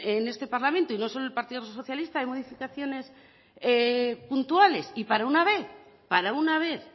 en este parlamento y no solo el partido socialista en modificaciones puntuales y para una vez para una vez